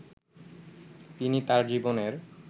তিনি তার জীবনের